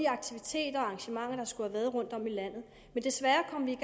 aktiviteter og arrangementer der skulle være rundtom i landet men desværre kom vi